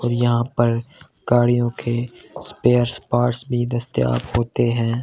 और यहां पर गाड़ियों के स्पेयर्स पार्ट्स भी दस्ताब होते हैं।